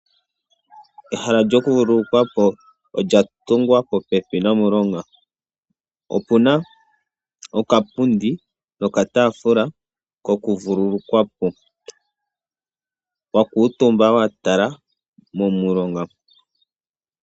Ehala lyokuvululukwa po olya tungwa po pepi nomulonga, opu na okapundi nokataafula kokuvululukwa po wa kuutumba wa tala momulonga.